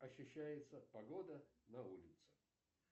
ощущается погода на улице